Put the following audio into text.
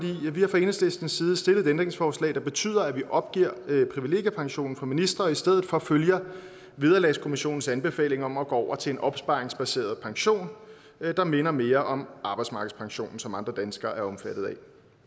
vi har fra enhedslistens side stillet et ændringsforslag der betyder at vi opgiver privilegiepensionen for ministre og i stedet for følger vederlagskommissionens anbefaling om at gå over til en opsparingsbaseret pension der minder mere om arbejdsmarkedspensionen som andre danskere er omfattet af